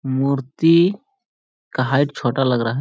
मूर्ति का हाइट छोटा लग रहा है |